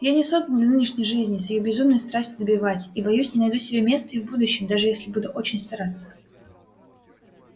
я не создан для нынешней жизни с её безумной страстью добивать и боюсь не найду себе места и в будущем даже если буду очень стараться